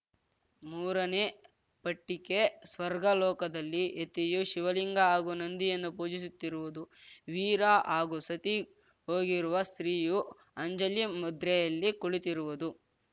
ಮೂರನೇ ಪಟ್ಟಿಕೆ ಸ್ವರ್ಗ ಲೋಕದಲ್ಲಿ ಯತಿಯು ಶಿವಲಿಂಗ ಹಾಗೂ ನಂದಿಯನ್ನು ಪೂಜಿಸುತ್ತಿರುವುದು ವೀರ ಹಾಗೂ ಸತಿ ಹೋಗಿರುವ ಸ್ತ್ರೀಯು ಅಂಜಲಿ ಮುದ್ರೆಯಲ್ಲಿ ಕುಳಿತಿರುವುದು